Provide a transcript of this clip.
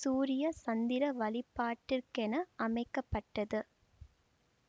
சூரிய சந்திர வழிபாட்டிற்கென அமைக்க பட்டது